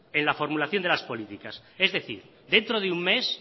en la formulación de las políticas es decir dentro de un mes